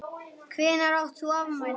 Hvenær átt þú afmæli?